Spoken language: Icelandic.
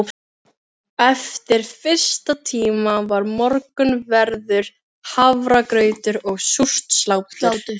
Eftir fyrsta tíma var morgunverður, hafragrautur og súrt slátur.